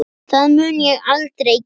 Það mun ég aldrei gera.